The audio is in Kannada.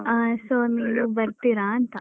ಅಹ್ so ನೀವು ಬರ್ತೀರಾ ಅಂತ?